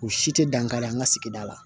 U si tɛ dankari an ka sigida la